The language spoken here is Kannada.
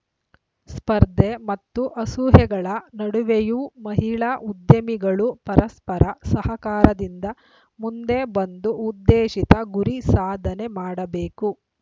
ಸ್ಪರ್ಧೆ ಮತ್ತು ಅಸೂಹೆಗಳ ನಡುವೆಯೂ ಮಹಿಳಾ ಉದ್ಯಮಿಗಳು ಪರಸ್ಪರ ಸಹಕಾರದಿಂದ ಮುಂದೆ ಬಂದು ಉದ್ದೇಶಿತ ಗುರಿ ಸಾಧನೆ ಮಾಡಬೇಕು